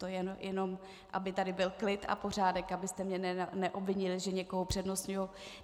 To jen aby tady byl klid a pořádek, abyste mě neobvinili, že někoho upřednostňuji.